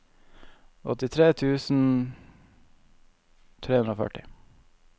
åttitre tusen tre hundre og førti